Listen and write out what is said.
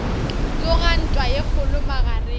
tsoga ntwa ye kgolo magareng